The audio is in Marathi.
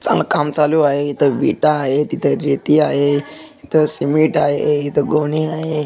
चांगल काम चालू आहे इथं वीटा आहे इथं रेती आहे इथं सीमेंट आहे इथं गोनी आहे.